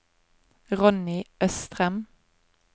Ronny Østrem